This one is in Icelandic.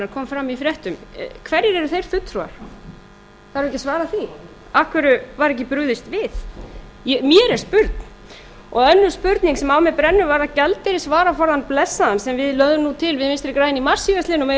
kom fram í fréttum hverjir eru þeir fulltrúar þarf ekki að svara því af hverju var ekki brugðist við mér er spurn og önnur spurning sem á mér brennur varðar gjaldeyrisvaraforðann blessaðan sem við lögðum nú til við vinstri græn í mars síðastliðnum að væri